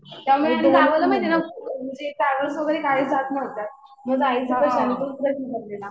त्यामुळे आणि गावाला माहितीये का म्हणजे ट्रॅव्हल्स वगैरे काहीच जात नव्हतं. मग जायचं कशाने तोच प्रश्न पडलेला.